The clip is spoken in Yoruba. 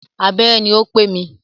Abẹ́rẹ́ ní o pé mi.